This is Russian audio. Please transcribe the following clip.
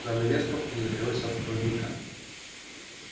занавеска пузырилась от сквозняка